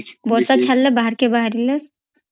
ବର୍ଷା ଛାଡିଲେ ବାହାରକେ ବାହାରିଲେ